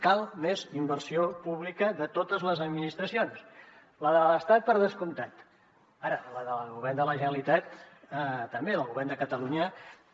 cal més inversió pública de totes les administracions la de l’estat per descomptat ara la del govern de la generalitat també la del govern de catalunya també